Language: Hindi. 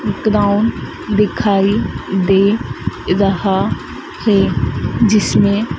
एक गांव दिखाई दे रहा है जिसमें--